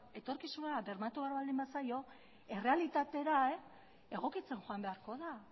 etorkizunera bermatu behar baldin bazaio errealitatera egokitzen joan beharko da